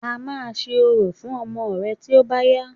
A máa ṣe orò fún ọmọ rẹ̀ tí ó bá yá